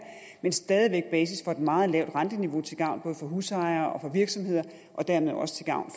er stadig væk basis for et meget lavt renteniveau til gavn for både husejere og virksomheder og dermed også til gavn